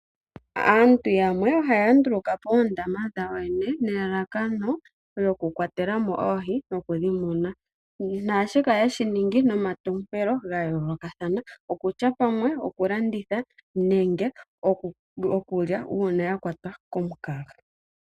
Aantu yamwe ohaya nduluka po oondama dhawo yene nelalakano lyokukwatela mo oohi nokudhi muna. Naashika ohaye shi ningi nomatompelo ga yoolokathana, okutya pamwe okulanditha nenge okulya uuna ya kwatwa komukaga.